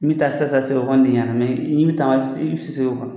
N bɛ taa sisan sisan sɛbɛ kɔni tɛ i ɲana mɛ n'i bɛ taama i bɛ se se o